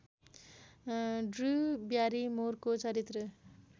Drew ब्यारिमोरको चरित्र